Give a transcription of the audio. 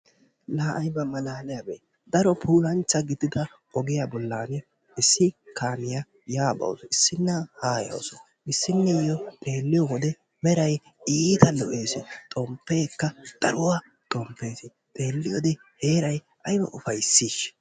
Laa ayba malaaliyabee daro puulanchcha gidida ogiya bollan issi kaamiya yaa bawusu issinna haa yawusu issnniiyo xelliyode meray iita lo"ees xomppeekka daruwa xomppees, xelliyode heeray ayba ufayssiishsha?